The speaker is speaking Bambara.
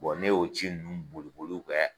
Bɔn ne y'o ci ninnu boli boliw bɛɛ